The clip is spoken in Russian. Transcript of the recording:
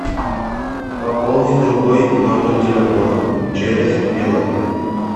пополнить другой номер телефона через билайн